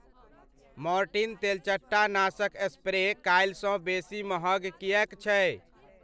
Mortein तेलचट्टा नाशक spray काल्हिसँ बेसी महग किएक छै?